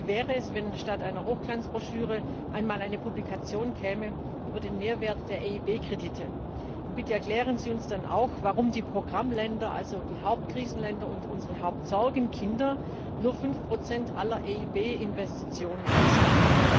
Wie wäre es, wenn statt einer Hochglanzbroschüre einmal eine Publikation über den Mehrwert der EIB Kredite käme? Und bitte erklären Sie uns dann auch, warum die Programmländer, also die Hauptkrisenländer und unsere Hauptsorgenkinder, nur 5 aller EIB Investitionen ausmachen?